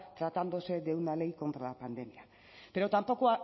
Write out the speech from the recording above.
tratándose de una ley contra la pandemia pero tampoco